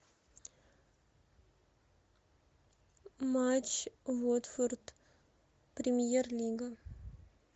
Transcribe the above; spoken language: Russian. матч уотфорд премьер лига